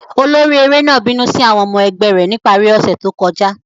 Olori ere náà binu si awọn ọmọ ẹgbẹ rẹ ni ipari ose to kọja.